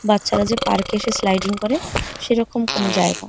বাচ্চারা যে পার্কে এসে স্লাইডিং করে সেরকম কোনো জায়গা।